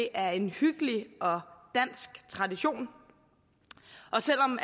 er en hyggelig og dansk tradition og selv om